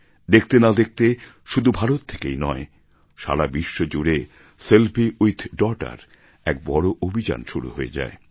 দেখতে না দেখতে শুধু ভারত থেকেই নয় সারা বিশ্ব জুড়ে সেলফি উইথ ডটার এক বড় অভিযান শুরু হয়ে যায়